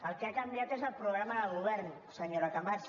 el que ha canviat és el programa de govern senyora camats